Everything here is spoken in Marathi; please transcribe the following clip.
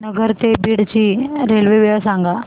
नगर ते बीड ची रेल्वे वेळ सांगा